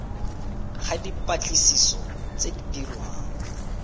ga dipatlisiso tse di dirwang